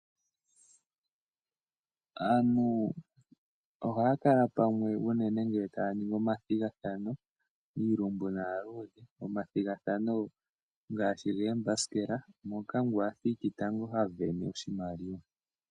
Aantu ohaya kala pamwe unene ngele tayi ningi omathigathano iilumbu naaluudhe . Omathigathano ngaashi goombasikela moka ngu athiki tango ha sindana oshimaliwa.